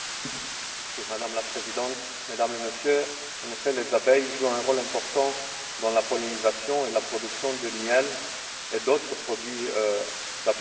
Madame la Présidente, Mesdames et Messieurs, en effet, les abeilles jouent un rôle important dans la pollinisation et la production de miel et d'autres produits de l'apiculture.